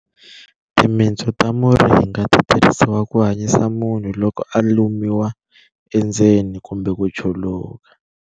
Timitsu ta muringa ti tirhisiwa ku hanyisa munhu loko a lumiwa endzeni kumbe ku chuluka.